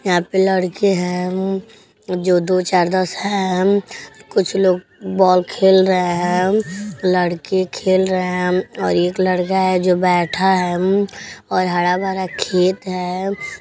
यहा पर लड़के हैं जो दो चार दस हैं। कुछ लोग बॉल खेल रहे हैं। लड़के खेल रहे हैं और एक लड़का है जो बैठा है। म्म और हरा भरा खेत है।